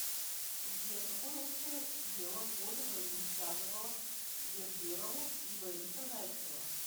сбер какое общее дело в годы войны связывало берберову и бориса зайцева